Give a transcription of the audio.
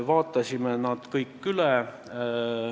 Vaatasime need kõik üle.